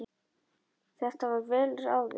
Þetta var vel ráðið.